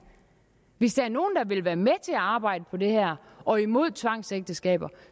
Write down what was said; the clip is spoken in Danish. hvis der er nogen der vil være med til at arbejde på det her og imod tvangsægteskaber